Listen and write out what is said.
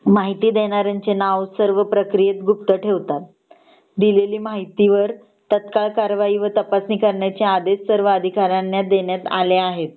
माहिती देणाऱ्याचे नाव सर्व प्रक्रियेत गुप्त ठेवतात दिलेली माहितीवर तत्काल कारवाई व तपासणी करण्याचे आदेश सर्व अधिकाऱ्याना देण्यात आले आहेत